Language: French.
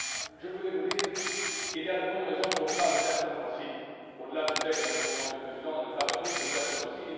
Je voulais vous dire qu'il y avait de bonnes raisons pour ne pas le faire ce mois ci, au delà du fait que la Conférence des présidents n'a pas prévu de le faire ce mois ci